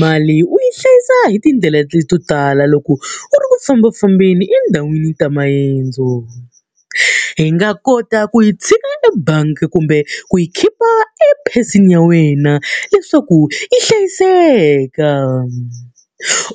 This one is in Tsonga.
Mali u yi hlayisa hi tindlela to tala loko u ri ku fambafambeni endhawini ta maendzo. I nga kota ku hi tshika ebangi kumbe ku yi khipha epheseni ya wena leswaku yi hlayiseka.